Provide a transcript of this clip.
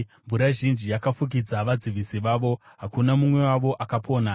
Mvura zhinji yakafukidza vadzivisi vavo; hakuna mumwe wavo akapona.